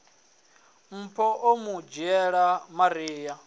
mpho o mu dzhiela maria